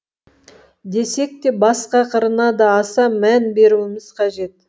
десек те басқа қырына да аса мән беруіміз қажет